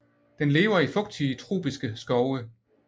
Den lever i fugtige tropiske skove